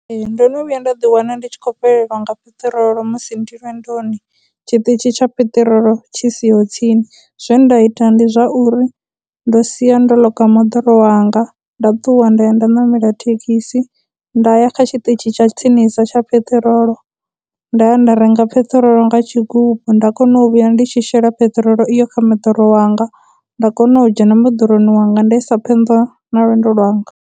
Ndo no vhuya nda ḓi wana ndi tshi khou fhelelwa nga peṱirolo musi ndi lwendoni tshiṱitshi tsha peṱirolo tshi siho tsini. Zwe nda ita ndi zwa uri ndo sia ndo moḓoro wanga, nda ṱuwa nda ya nda ṋamela thekhisi, nda ya kha tshiṱitshi tsha tsinisa tsha peṱirolo nda ya nda renga peṱirolo nga tshigubu, nda kona u vhuya ndi tshi shela peṱirolo iyo kha moḓoro wanga, nda kona u dzhena moḓoroni wanga nda isa phanḓa na lwendo lwanga.